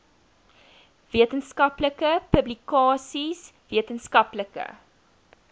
wetenskaplike publikasies wetenskaplike